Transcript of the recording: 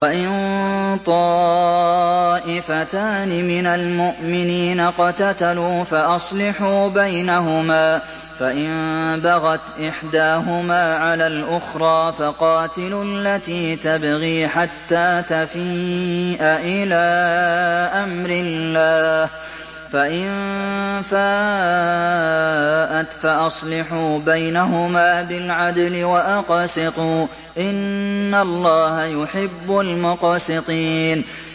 وَإِن طَائِفَتَانِ مِنَ الْمُؤْمِنِينَ اقْتَتَلُوا فَأَصْلِحُوا بَيْنَهُمَا ۖ فَإِن بَغَتْ إِحْدَاهُمَا عَلَى الْأُخْرَىٰ فَقَاتِلُوا الَّتِي تَبْغِي حَتَّىٰ تَفِيءَ إِلَىٰ أَمْرِ اللَّهِ ۚ فَإِن فَاءَتْ فَأَصْلِحُوا بَيْنَهُمَا بِالْعَدْلِ وَأَقْسِطُوا ۖ إِنَّ اللَّهَ يُحِبُّ الْمُقْسِطِينَ